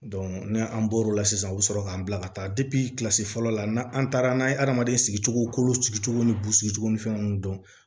ni an bɔr'o la sisan u bɛ sɔrɔ k'an bila ka taa kilasi fɔlɔ la n'an an taara n'an ye adamaden sigicogo kolo sigicogo ni bu sigi ni fɛnw dɔn